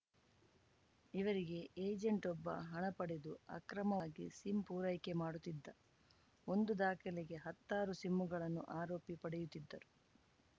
ಇವರಿಗೆ ಏಜೆಂಟ್‌ವೊಬ್ಬ ಹಣ ಪಡೆದು ಅಕ್ರಮವಾಗಿ ಸಿಮ್‌ ಪೂರೈಕೆ ಮಾಡುತ್ತಿದ್ದ ಒಂದು ದಾಖಲೆಗೆ ಹತ್ತಾರು ಸಿಮ್ಮುಗಳನ್ನು ಆರೋಪಿಗಳು ಪಡೆಯುತ್ತಿದ್ದರು